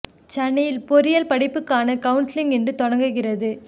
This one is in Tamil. சென்னையில் பொறியியல் படிப்புக்கான கவுன்சலிங் இன்று தொடங்குகிறது